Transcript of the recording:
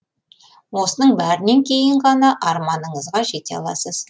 осының бәрінен кейін ғана арманыңызға жете аласыз